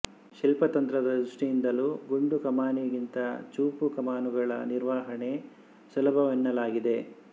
ಶಿಲ್ಪತಂತ್ರದ ದೃಷ್ಟಿಯಿಂದಲೂ ಗುಂಡು ಕಮಾನಿಗಿಂತ ಚೂಪು ಕಮಾನುಗಳ ನಿರ್ವಹಣೆ ಸುಲಭವೆನ್ನಲಾಗಿದೆ